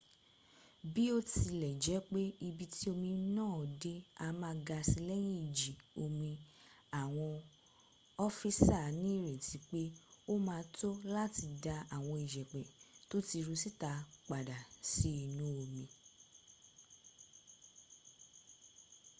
biotilejepe ibi ti omi naa de a maa ga si leyin iji omi awon ofisa ni ireti pe o ma to lati da awon iyepe to ti ru sita pada si inu omi